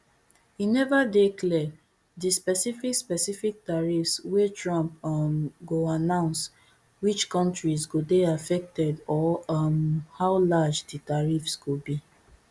e neva dey clear di specific specific tariffs wey trump um go announce which kontris go dey affected or um how large di tariffs go be